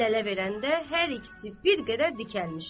Əl-ələ verəndə hər ikisi bir qədər dikəlmişdi.